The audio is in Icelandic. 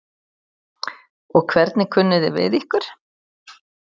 Og hvernig kunni þið við ykkur?